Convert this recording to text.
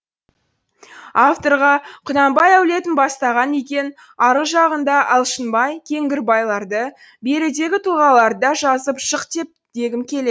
авторға құнанбай әулетін бастаған екен арғы жағындағы алшынбай кеңгірбайларды берідегі тұлғаларды да жазып шық дегім келеді